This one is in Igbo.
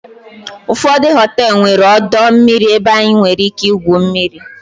ụfọdụ họteelụ nwere ọdọ mmiri ebe anyị nwere ike igwu mmiri